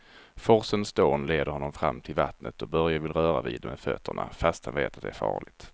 Forsens dån leder honom fram till vattnet och Börje vill röra vid det med fötterna, fast han vet att det är farligt.